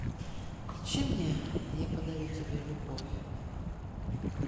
включи мне я подарю тебе любовь